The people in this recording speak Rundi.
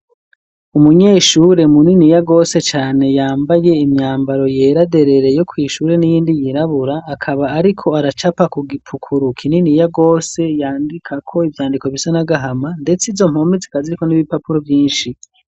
umunyeshure mu nini yagose cane yambaye imyambaro yeraderereye ku ishure n'iyindi yirabura akaba ariko aracapa ku gipukuruka inini yagose yandika ko ibyandiko bisa nagahama ndetse izo mpome zikaziriko n'ib'ibipapuro byinshi